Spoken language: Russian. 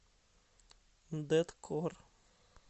дэткор